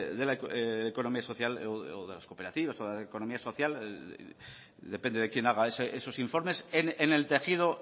de la economía social o de las cooperativas de la economía social depende de quien haga esos informes en el tejido